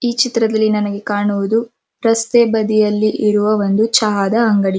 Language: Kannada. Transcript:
ಈ ಚಿತ್ರದಲ್ಲಿ ನಮಗೆ ಕಾಣುವುದು ರಸ್ತೆ ಬದಿಯಲ್ಲಿ ಇರುವ ಒಂದು ಚಹಾದ ಅಂಗಡಿ.